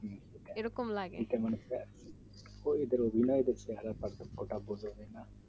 ওদের অভিনয়ে চেহেরা ওটা তো বললে না